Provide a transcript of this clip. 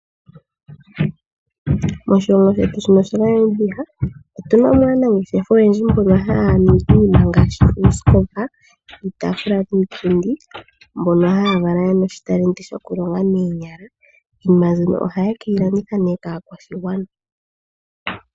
Moshilongo shetu shaNamibia otu namo aanangeshefa oyendji mbono haya ningi iinima ngaashi uusikopa, iitaafula niipundi. Ohaya kala yena omagano gokulonga noonyala. Iinima mbino ohaye keyi landitha kaakwashigwana.